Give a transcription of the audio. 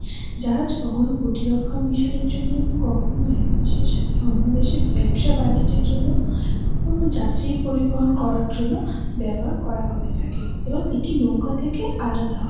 জাহাজ কখনো প্রতিরক্ষণ মিশন এর জন্য কখনো এক দেশের সাথে অন্য দেশের ব্যবসা ব্যনিজ্যর জন্য কখনও যাতি পরিবহন করার জন্য ব্যবহার করা হয় থাকে এবং এটি নৌকা থেকে আলাদা হয় ।